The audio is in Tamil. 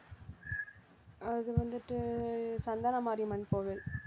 அது வந்துட்டு சந்தன மாரியம்மன் கோவில்